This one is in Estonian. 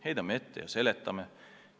Heidame ette ja seletame.